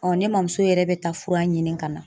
ne mamuso yɛrɛ bɛ taa fura ɲini ka na